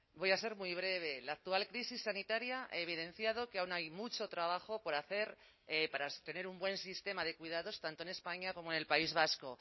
voy a ser muy breve la actual crisis sanitaria ha evidenciado que aún hay mucho trabajo por hacer para tener un buen sistema de cuidados tanto en españa como en el país vasco